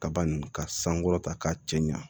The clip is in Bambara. Kaba nin ka sankɔrɔta k'a cɛ ɲa